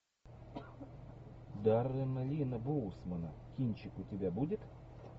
даррена линна боусмана кинчик у тебя будет